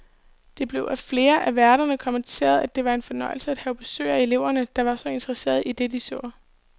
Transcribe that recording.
Det blev af flere af værterne kommenteret, at det var en fornøjelse at have besøg af elever, der var så interesserede i det, de så.